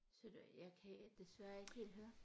Så du jeg kan desværre ikke helt høre